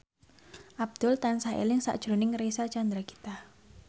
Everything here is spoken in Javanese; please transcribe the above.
Abdul tansah eling sakjroning Reysa Chandragitta